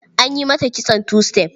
An yi mata kitson two step.